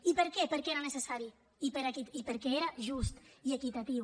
i per què perquè era necessari i perquè era just i equitatiu